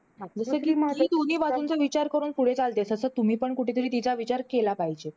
कि ती मुलगी दोन्ही बाजूंचा विचार करून पुढे चालते. तसं तुम्ही पण कुठेतरी तिचा विचार केला पाहिजे.